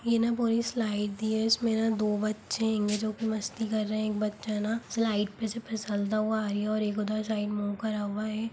ये न पूरी स्लाइड दी है इसमें न दो बच्चे इनमें जोकि मस्ती कर रहे है एक बच्चा न स्लाइड पे से फिसलता हुआ आई है और एक उधर साइड मुँह करा हुआ है।